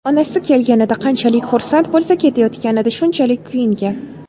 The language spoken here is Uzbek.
Onasi kelganida qanchalik xursand bo‘lsa, ketayotganida shunchalik kuyingan.